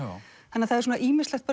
þannig að það er ýmislegt